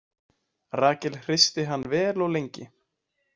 Rahel hristi hann vel og lengi.